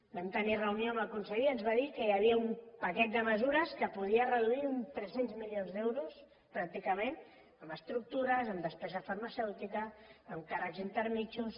vam tenir reunió amb el conseller i ens va dir que hi havia un paquet de mesures amb què podia reduir tres cents milions d’euros pràcticament en estructures en despesa farmacèutica en càrrecs intermedis